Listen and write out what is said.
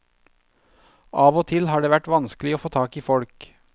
Av og til har det vært vanskelig å få tak i folk.